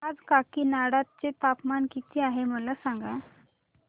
आज काकीनाडा चे तापमान किती आहे मला सांगा